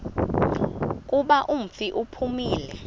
kuba umfi uphumile